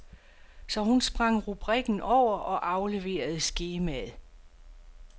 Så hun sprang rubrikken over og afleverede skemaet.